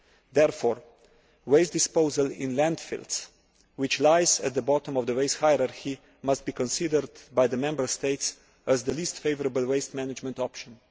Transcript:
Therefore, waste disposal in landfills that lie at the bottom of the waste hierarchy must be considered by the Member States as the least favourable waste management option.